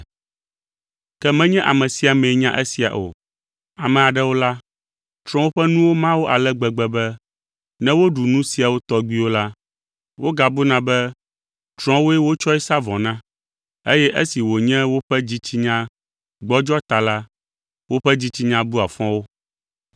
Ke menye ame sia amee nya esia o. Ame aɖewo la, trɔ̃wo ƒe nuwo ma wo ale gbegbe be ne woɖu nu siawo tɔgbiwo la, wogabuna be trɔ̃woe wotsɔe sa vɔe na, eye esi wònye woƒe dzitsinya gbɔdzɔ ta la, woƒe dzitsinya bua fɔ wo.